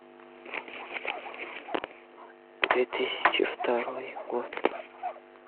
две тысячи второй год